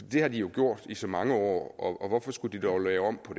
det har de jo gjort i så mange år og hvorfor skulle de dog lave om på